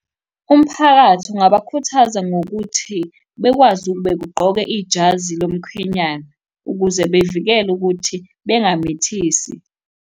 Umphakathi ungabakhuthaza ngokuthi, bekwazi begqoke ijazi lomkhwenyana ukuze bevikele ukuthi bengamithisi.